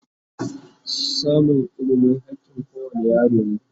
samun ilimi hakkin kowane yaro ne